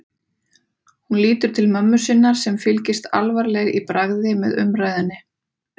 Hún lítur til mömmu sinnar sem fylgist alvarleg í bragði með umræðunni.